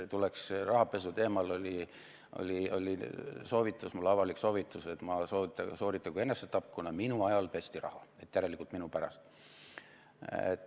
Rahapesuteemal oli soovitus mulle, avalik soovitus, et ma sooritagu enesetapp, kuna minu ajal pesti raha, et järelikult minu pärast.